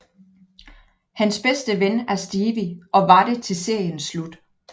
Hans bedste ven er Stevie og var det til seriens slut